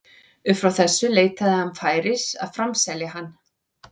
Upp frá þessu leitaði hann færis að framselja hann.